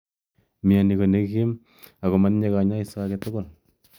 Mnyeni ko nekim ak matinye kanyoiso age tugul.